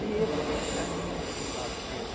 bêbada, caindo de um lado para o outro.